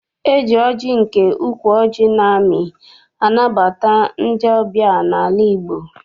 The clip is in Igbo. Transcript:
E ji ọjị nke ukwu ọjị na-amị anabata ndị ọbịa n'ala Igbo.